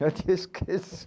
Eu te